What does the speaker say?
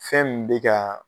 Fɛn min be kaa